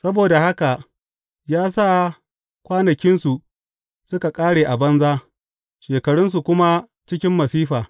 Saboda haka ya sa kwanakinsu suka ƙare a banza shekarunsu kuma cikin masifa.